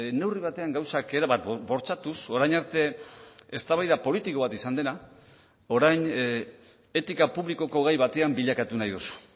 neurri batean gauzak erabat bortxatuz orain arte eztabaida politiko bat izan dena orain etika publikoko gai batean bilakatu nahi duzu